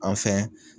An fɛ